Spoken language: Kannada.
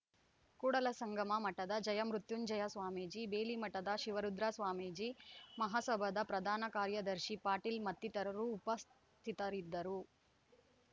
ಕೂಡಲ ಸಂಗಮ ಮಠದ ಜಯಮೃತ್ಯುಂಜಯ ಸ್ವಾಮೀಜಿ ಬೇಲಿಮಠದ ಶಿವರುದ್ರ ಸ್ವಾಮೀಜಿ ಮಹಾಸಭಾದ ಪ್ರಧಾನ ಕಾರ್ಯದರ್ಶಿ ಪಾಟೀಲ್‌ ಮತ್ತಿತರರು ಉಪಸ್ಥಿತರಿದ್ದರು